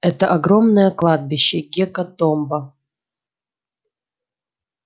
это огромное кладбище гекатомба